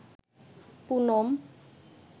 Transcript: Poonam